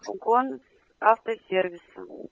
угон автосервиса